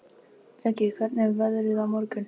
Bjöggi, hvernig er veðrið á morgun?